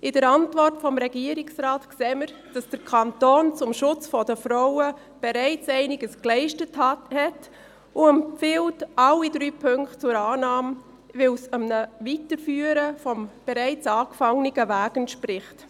In der Antwort des Regierungsrates sehen wir, dass der Kanton zum Schutz der Frauen bereits Einiges geleistet hat und er alle drei Punkte zur Annahme empfiehlt, weil es einer Weiterführung des bereits begonnenen Wegs entspricht.